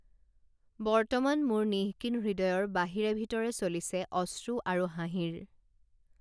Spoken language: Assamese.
বৰ্তমান মোৰ নিঃকিন হৃদয়ৰ বাহিৰে ভিতৰে চলিছে অশ্ৰু আৰু হাঁহিৰ